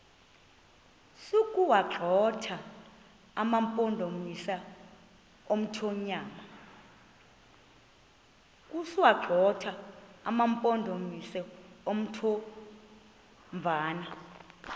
sokuwagxotha amampondomise omthonvama